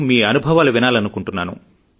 మీ అనుభవాలు వినాలనుకుంటున్నాను